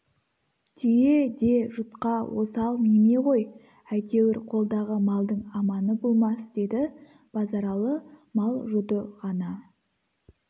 түйе де жұтқа осал неме ғой әйтеуір қолдағы малдың аманы болмас деді базаралы мал жұты ғана